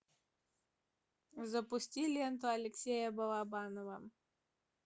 запусти ленту алексея балабанова